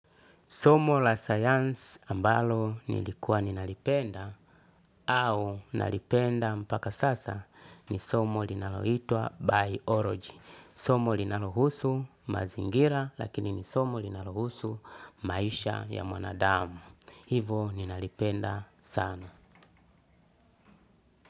Somo la science ambalo nilikuwa ninalipenda au nalipenda mpaka sasa ni somo linaloitwa biology. Somo linalohusu mazingira lakini ni somo linalohusu maisha ya mwanadamu. Hivo ninalipenda sana.